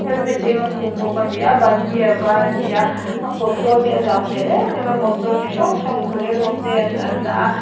helmet eng a bawk khum a ni a a ban hi a var a ni a a kawt zawl hi a zau hmel em em a motor chi hrang hrang bolero te an an dah a.